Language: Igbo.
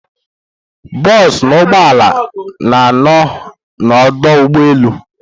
Bosu na ụgbọala na ano na odoo ụgbọala.